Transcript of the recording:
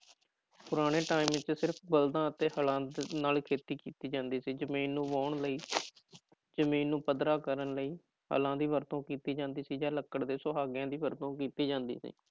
ਪੁਰਾਣੇ time ਵਿੱਚ ਸਿਰਫ਼ ਬਲਦਾਂ ਅਤੇ ਹਲਾਂ ਨਾਲ ਖੇਤੀ ਕੀਤੀ ਜਾਂਦੀ ਸੀ ਜ਼ਮੀਨ ਨੂੰ ਵਾਹੁਣ ਲਈ ਜ਼ਮੀਨ ਨੂੰ ਪੱਧਰਾ ਕਰਨ ਲਈ ਹਲਾਂ ਦੀ ਵਰਤੋਂ ਕੀਤੀ ਜਾਂਦੀ ਸੀ ਜਾਂ ਲੱਕੜ ਦੇ ਸੁਹਾਗਿਆਂ ਦੀ ਵਰਤੋਂ ਕੀਤੀ ਜਾਂਦੀ ਸੀ